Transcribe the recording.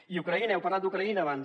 i ucraïna heu parlat d’ucraïna abans